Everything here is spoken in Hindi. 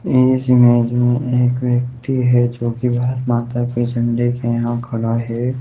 इस इमेज में एक व्यक्ति है जोकि भारत-माता के झंडे के यहाँ खड़ा हैं।